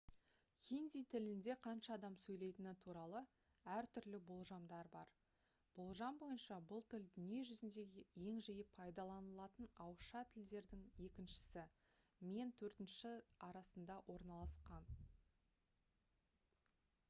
хинди тілінде қанша адам сөйлетіні туралы әртүрлі болжамдар бар болжам бойынша бұл тіл дүние жүзіндегі ең жиі пайдаланылатын ауызша тілдердің екіншісі мен төртіншісі арасында орналасқан